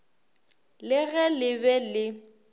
le ge le be le